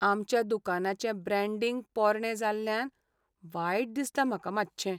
आमच्या दुकानाचें ब्रॅण्डींग पोरणें जाल्ल्यान वायट दिसता म्हाका मातशें.